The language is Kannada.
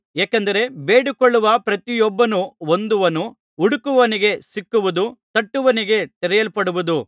ಏಕೆಂದರೆ ಬೇಡಿಕೊಳ್ಳುವ ಪ್ರತಿಯೊಬ್ಬನೂ ಹೊಂದುವನು ಹುಡುಕುವವನಿಗೆ ಸಿಕ್ಕುವುದು ತಟ್ಟುವವನಿಗೆ ತೆರೆಯಲ್ಪಡುವುದು